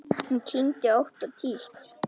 Hún kyngdi ótt og títt.